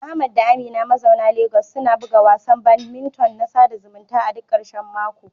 Ahmad da Amina mazauna Legas suna buga wasan badminton na sada zumunta a duk ƙarshen mako.